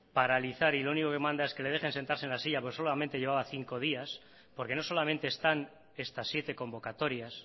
paralizar y lo único que manda es que le dejen sentarse en la silla porque solamente llevaba cinco días porque no solamente están estas siete convocatorias